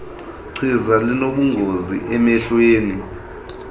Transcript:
chiza linobungozi emehlweni